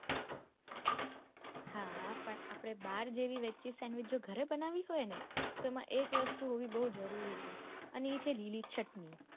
હા પણ આપડે બાર જેવી veg cheese sandwich જો ગરે બનાવી હોય ને તો એક વસ્તુ હોવી બૌ જરૂરી છે અને એ છે લીલી ચટણી.